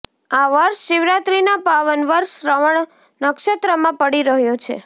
આ વર્ષ શિવરાત્રિના પાવન પર્વ શ્રવણ નક્ષત્રમાં પડી રહ્યો છે